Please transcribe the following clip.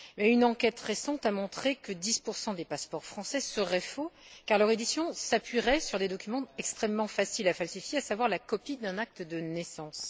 Une enquête récente a montré que 10 des passeports français seraient faux car leur édition s'appuierait sur des documents extrêmement faciles à falsifier, à savoir la copie d'un acte de naissance.